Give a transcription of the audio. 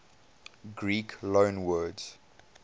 greek loanwords